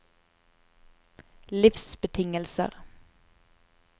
livsbetingelser